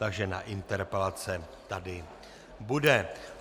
Takže na interpelace tady bude.